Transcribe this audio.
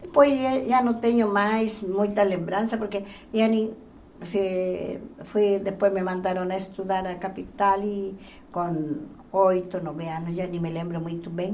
Depois, já não tenho mais muita lembrança, porque eh foi depois me mandaram estudar na capital e com oito, nove anos, já nem me lembro muito bem.